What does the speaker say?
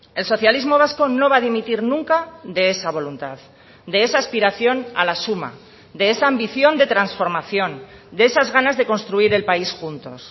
el socialismo vasco no va a dimitir nunca de esa voluntad de esa aspiración a la suma de esa ambición de transformación de esas ganas de construir el país juntos